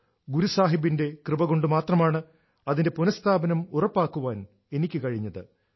ഗുരു സാഹിബിന്റെ കൃപ കൊണ്ട് മാത്രമാണ് അതിന്റെ പുനസ്ഥാപനം ഉറപ്പാക്കാൻ എനിക്ക് കഴിഞ്ഞത്